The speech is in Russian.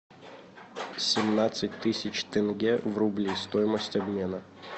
семнадцать тысяч тенге в рубли стоимость обмена